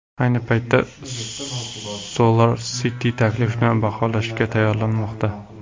Ayni paytda SolarCity taklifni baholashga tayyorlanmoqda.